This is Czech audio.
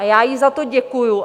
A já jí za to děkuju.